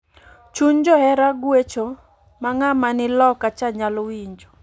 Chuny johera gwecho ma ngama ni loka cha nyal winjo